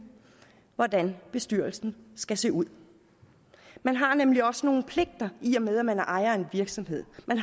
hvordan bestyrelsen skal se ud man har nemlig også nogle pligter i og med at man er ejer af en virksomhed og man